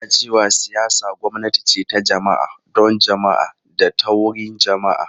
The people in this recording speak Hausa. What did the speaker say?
Ana cewa siyasa gwamnati ce ta jama’a, don jama’a da ta wurin jama’a.